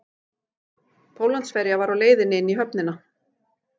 Póllandsferja var á leiðinni inn í höfnina